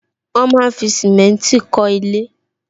Wọn máa ń fi simenti kọ ilé